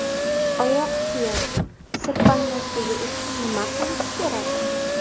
Oyoq kiyim sirpanmasligi uchun nima qilish kerak?.